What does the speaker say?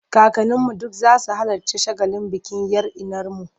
Kakanninu duk za su halarci shagalin bikin 'yar innarmu.